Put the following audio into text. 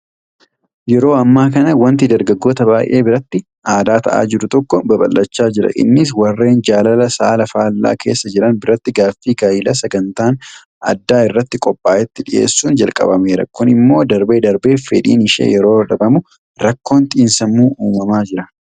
Yeroo ammaa kana waanti dargaggoota baay'ee biratti aadaa ta'aa jiru tokko babal'achaa jira. Innis Warreen jaalala saala faallaa keessa jiran biratti gaaffii gaayilaa sagantaan addaa irratti qophaa'etti dhiyeessuun jalqabameera. Kun immoo darbee darbee fedhiin ishee yeroo dhabamu rakkoon xiinsammuu uumamaa jira.